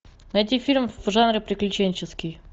найти фильм в жанре приключенческий